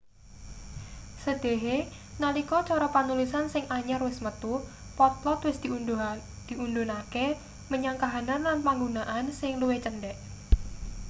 sedhehe nalika cara panulisan sing anyar wis metu potlot wis diudhunake menyang kahanan lan panggunaan sing luwih cendhek